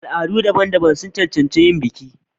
Al'adu daban-daban sun cancanci yin biki.